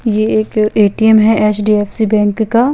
ये एक ए_टी_ऍम हे एच_डी_ऍफ़_सी बेंक का--